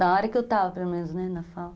Na hora que eu estava, pelo menos, na FAO.